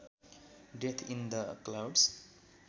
death in the clouds